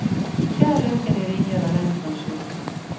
Skjær løken i ringer og rens ansjosene.